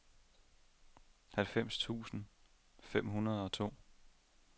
halvfems tusind fem hundrede og to